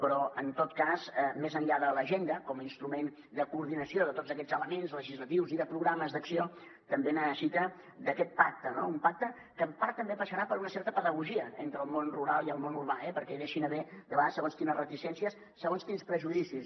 però en tot cas més enllà de l’agenda com a instrument de coordinació de tots aquests elements legislatius i de programes d’acció també necessita d’aquest pacte no un pacte que en part també passarà per una certa pedagogia entre el món rural i el món urbà eh perquè deixi d’haver hi de vegades segons quines reticències segons quins prejudicis